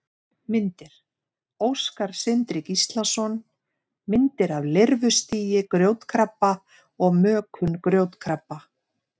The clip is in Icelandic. Myndir: Óskar Sindri Gíslason: Myndir af lirfustigi grjótkrabba og mökun grjótkrabba.